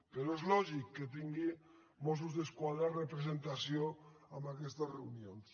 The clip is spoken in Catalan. però és lògic que tingui mossos d’esquadra representació en aquestes reunions